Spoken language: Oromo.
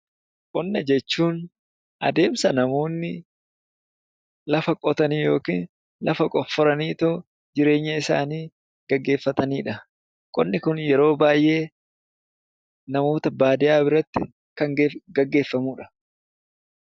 Qonna jechuun adeemsa namoonni lafa qotanii yookiin lafa qofforanii jireenya isaanii geggeeffatani dha. Qonni kun yeroo baay'ee namoota baadiyyaa biratti kan geggeeffamuu dha.